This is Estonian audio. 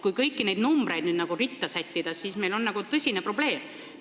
Kui kõik need numbrid ritta sättida, siis on meil tõsine probleem.